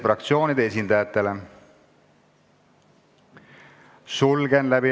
Juhtivkomisjoni ettepanek on eelnõu 678 esimene lugemine lõpetada.